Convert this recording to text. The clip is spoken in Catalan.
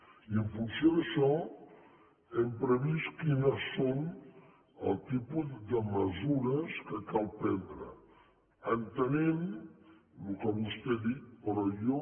i en funció d’això hem previst quines són els tipus de mesures que cal prendre entenent en el que vostè ha dit però jo